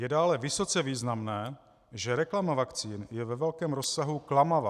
Je dále vysoce významné, že reklama vakcín je ve velkém rozsahu klamavá.